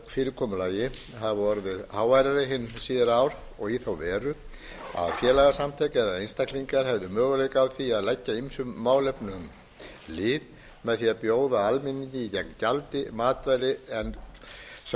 fyrirkomulagi hafa orðið háværari hin síðari ár í þá veru að félagasamtök eða einstaklingar hefðu möguleika á því að leggja ýmsum málefnum lið með því að bjóða almenningi gegn gjaldi matvæli sem